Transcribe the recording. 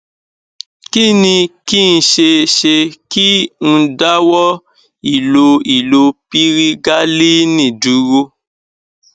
kí ni kí n ṣe ṣé kí n dáwọ ìlo ìlo pirigalíìnì dúró